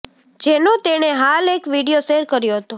જેનો તેણે હાલ એક વીડિયો શેર કર્યો હતો